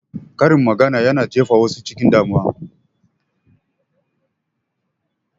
Karin magana yana sa wasu jindaɗi.